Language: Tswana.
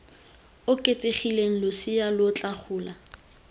oketsegileng losea lo tla gola